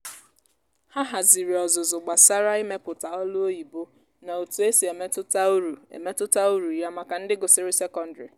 ha haziri ọzụzụ gbasara imepụta olu oyibo na otu e si emetụta uru emetụta uru ya maka ndị gụsịrị sekọndrị.